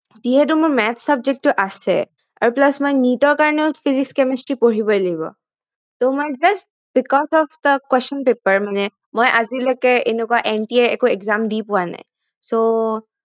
যিহেতু মোৰ Math subject টো আছে আৰু plus মই নিজৰ কাৰনে physics chemistry পঢ়িবই লাগিব মই just because of the question paper মানে মই আজিলৈকে এনেকুৱা NTA একো exam দি পোৱা নাই so